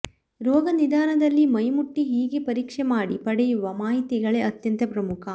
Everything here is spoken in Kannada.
ರೋಗ ನಿದಾನದಲ್ಲಿ ಮೈಮುಟ್ಟಿ ಹೀಗೆ ಪರೀಕ್ಷೆಮಾಡಿ ಪಡೆಯುವ ಮಾಹಿತಿಗಳೇ ಅತ್ಯಂತ ಪ್ರಮುಖ